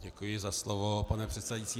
Děkuji za slovo, pane předsedající.